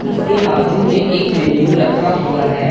उसके बाजू में एक मैन्यू रखा हुआ है।